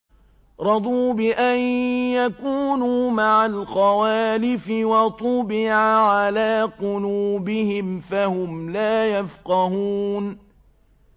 رَضُوا بِأَن يَكُونُوا مَعَ الْخَوَالِفِ وَطُبِعَ عَلَىٰ قُلُوبِهِمْ فَهُمْ لَا يَفْقَهُونَ